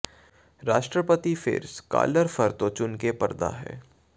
ਰਾਸ਼ਟਰਪਤੀ ਫਿਰ ਸਕਾਲਰ ਫ਼ਰ ਤੋਂ ਚੁਣ ਕੇ ਪੜ੍ਹਦਾ ਹੈ